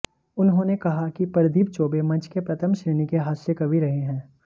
उन्होंने कहा कि प्रदीप चौबे मंच के प्रथम श्रेणी के हास्य कवि रहे हैं